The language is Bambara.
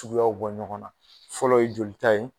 Suguya bɔ ɲɔgɔn na fɔlɔ ye jolita ye.